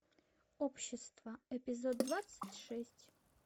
общество эпизод двадцать шесть